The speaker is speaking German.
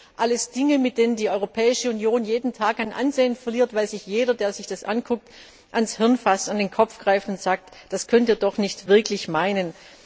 Das sind alles Dinge, mit denen die Europäische Union jeden Tag an Ansehen verliert, weil sich jeder, der sich das ansieht, an den Kopf greift und sagt Das könnt ihr doch nicht wirklich ernst meinen.